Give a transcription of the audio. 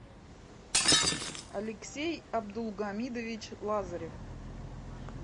алексей абдулгамидович лазарев